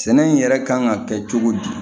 Sɛnɛ in yɛrɛ kan ka kɛ cogo di